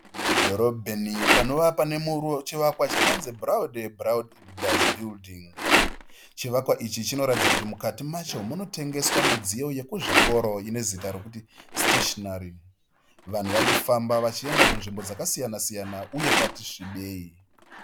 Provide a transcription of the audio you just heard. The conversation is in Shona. Mudhorobheni panova pane chivakwa chakanzi BRAUDE BROS BUILDING chivakwa ichi chinoratidza kuti mukati macho munotengeswa midziyo yekuzvikoro ine zita rekuti siteshinari vanhu varikufamba vachienda kunzvimbo dzakasiyana siyana uye kwati svibei.